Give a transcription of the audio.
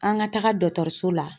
An ka taga dɔkɔtɔrɔso la.